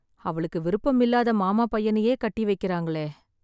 அவளுக்கு விருப்பமில்லாத மாமா பையனையே கட்டி வைக்கறாங்களே..